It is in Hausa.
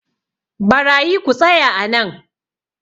barayi ku tsaya a nan!